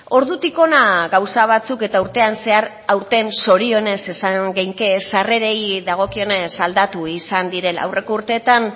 ordutik hona gauza batzuk eta urtean zehar aurtenzorionez esan dezakegu sarrerei dagokionez aldatu izan direla aurreko urteetan